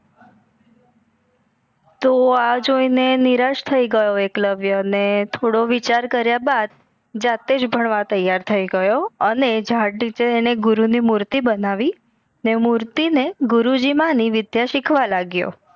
તો એ જોઈ ને નિરાશ થઈ ગયો એકલવ્ય ને થોડો વિચાર કર્યા બાદ જાતેજ ભણવા તૈયાર થઈ ગયો અને ઝાડ નીચે અને ગુરુ ની મુર્તિ બનાવી ને મુર્તિ ને ગુરુજી માની વિધ્ય સિખવા લગિયો